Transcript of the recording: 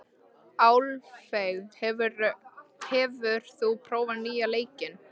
Álfey, hefur þú prófað nýja leikinn?